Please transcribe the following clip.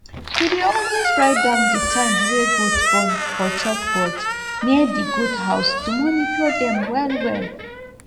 we dey always write down di time wey goat born for chalkboard near di goathouse to monitor dem well well